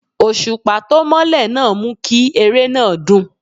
Òṣùpá tó mọ́lẹ̀ náà mú kí eré náà dùn.